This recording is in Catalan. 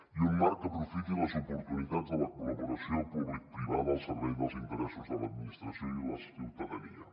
i un marc que aprofiti les oportunitats de la col·laboració publicoprivada al servei dels interessos de l’administració i la ciutadania